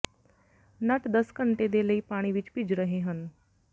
ਨਟ ਦਸ ਘੰਟੇ ਦੇ ਲਈ ਪਾਣੀ ਵਿਚ ਭਿੱਜ ਰਹੇ ਹਨ